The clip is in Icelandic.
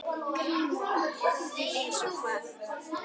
GRÍMUR: Eins og hvað?